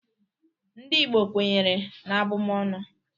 NdỊ Igbo kwenyere n'abụmọnụ.